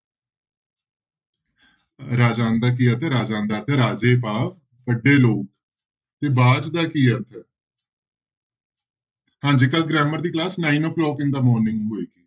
ਰਾਜਾਨ ਦਾ ਕੀ ਅਰਥ ਹੈ? ਰਾਜਾਨ ਦਾ ਅਰਥ ਹੈ ਰਾਜੇ ਭਾਵ ਵੱਡੇ ਲੋਕ ਤੇ ਬਾਝ ਦਾ ਕੀ ਅਰਥ ਹੈ ਹਾਂਜੀ ਕੱਲ੍ਹ grammar ਦੀ class nine o'clock in the morning ਹੋਏਗੀ।